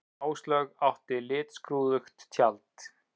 Áslaug átti litskrúðugt tjald